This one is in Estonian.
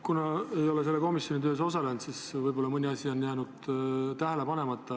Kuna ma ei ole selle komisjoni töös osalenud, siis võib-olla mõni asi on jäänud tähele panemata.